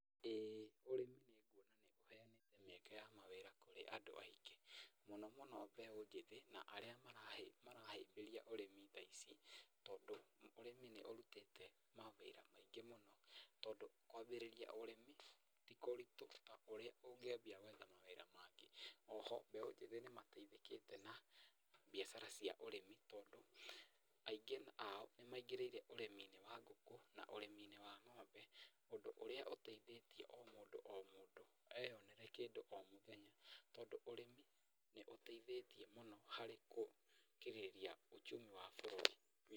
Ĩĩ ũrĩmi nĩ nguona nĩ ũheanĩte mĩeke ya mawĩra kũrĩ andũ aingĩ. Mũno mũno mbeũ njĩthĩ na arĩa marahĩmbĩria ũrĩmi thaa ici. Tondũ ũrĩmi ni ũrutĩte mawĩra maingĩ mũno tondũ kwambĩrĩria ũrĩmi ti kũritũ ta ũrĩa ũngĩambĩrĩria gwetha mawĩra mangĩ. O ho mbeũ njĩthĩ nĩ mateithĩkĩte na biacara cia ũrĩmi tondũ aingĩ ao nĩ maigĩrĩire ũrĩmi-inĩ wa ngũkũ na ũrĩmi-inĩ wa ng'ombe, ũndũ ũrĩa ũteithĩtie o mũndũ o mũndũ eyonĩre kĩndũ o mũthenya. Tondũ ũrĩmi nĩ ũteithĩtie mũno harĩ gũkĩrĩria uchumi wa bũrũri.